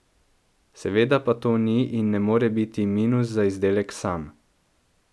Seveda pa to ni in ne more biti minus za izdelek sam...